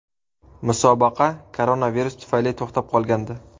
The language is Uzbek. Musobaqa koronavirus tufayli to‘xtab qolgandi.